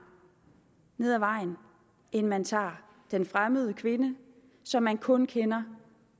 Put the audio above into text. nede ad vejen end man tager den fremmede kvinde som man kun kender